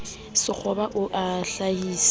sekgoba o be o hlahise